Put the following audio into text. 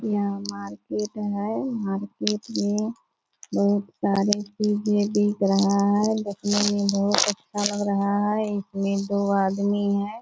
यहाँ मार्केट है मार्केट में बहुत सारे चींजे बिक रहा है देखने में बहुत अच्छा लग रहा है इसमें दो आदमी है।